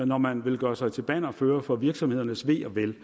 når man vil gøre sig til bannerfører for virksomhedernes ve og vel